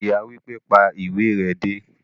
Ìyá wípé,"pa ìwé re dé"